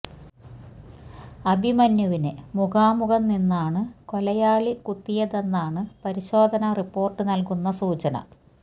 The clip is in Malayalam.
അഭിമന്യുവിന് മുഖാമുഖം നിന്നാണ് കൊലയാളി കുത്തിയതെന്നാണ് പരിശോധനാ റിപ്പോർട്ട് നൽകുന്ന സൂചന